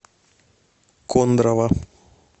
кондрово